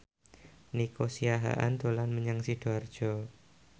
Nico Siahaan dolan menyang Sidoarjo